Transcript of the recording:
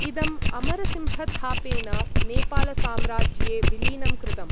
इदम् अमरसिंहथापेन नेपालसाम्राज्ये विलीनं कृतम्।